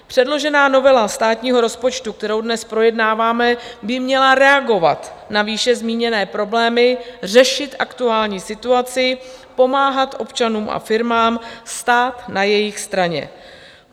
Předložená novela státního rozpočtu, kterou dnes projednáváme, by měla reagovat na výše zmíněné problémy, řešit aktuální situaci, pomáhat občanům a firmám, stát na jejich straně.